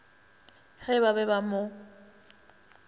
ge ba be ba mo